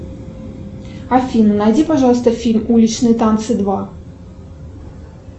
афина найди пожалуйста фильм уличные танцы два